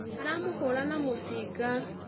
Aramũhũũra na mũcinga